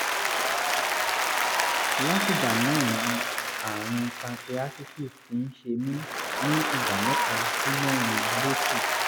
látìgbà náà ni àrùn pancreatitis ti ń ṣe mí ní ìgbà mẹ́ta sí mẹ́rin lóṣù